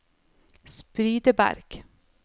Spydeberg